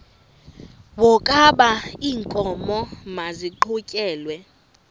wokaba iinkomo maziqhutyelwe